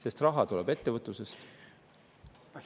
Aga raha tuleb ettevõtlusest.